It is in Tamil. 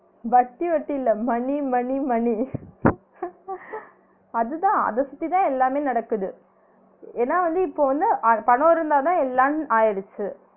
வட்டி வட்டியில்ல money money money அதுதான் அத சுத்திதான் எல்லாமே நடக்குது ஏனா வந்து இப்ப வந்து அத் பணம் இருந்தாதான் எல்லான் ஆயிடுச்சு